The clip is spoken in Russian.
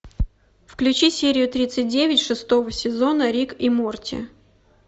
включи серию тридцать девять шестого сезона рик и морти